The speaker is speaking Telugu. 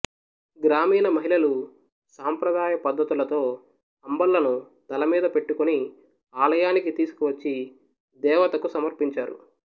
గ్రామీణమహిళలు సాంప్రదాయ పద్ధతులతో అంబళ్ళను తలమీద పెట్టుకొని ఆలయానికి తీసికొనివచ్చి దేవతకు సమర్పించారు